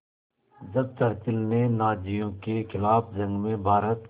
जब चर्चिल ने नाज़ियों के ख़िलाफ़ जंग में भारत